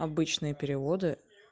обычные переводы